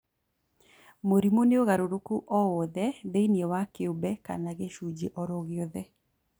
Mũrimũ nĩ ũgarũrũku o wothe thĩinĩ wa kĩũmbe kana gĩcunjĩ oro gĩothe